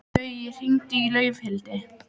Gaui, hringdu í Laufhildi.